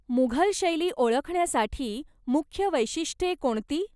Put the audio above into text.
मुघल शैली ओळखण्यासाठी मुख्य वैशिष्ट्ये कोणती?